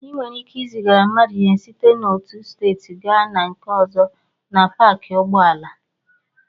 Ị nwere ike izigara mmadụ ihe site n'otu steeti gaa na nke ọzọ na paakị ụgbọala.